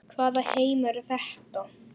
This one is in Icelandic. Þar með var það sagt.